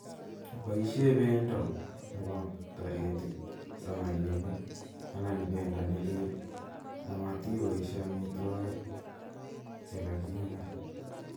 Boishe bendo nepo taritiik samaginik anan bendo nelel amatiboishe amitwokik chega �king'a.